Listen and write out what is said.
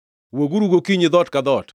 “ ‘Wuoguru gokinyi dhoot ka dhoot.